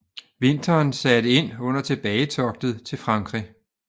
Vinteren satte ind under tilbagetoget til Frankrig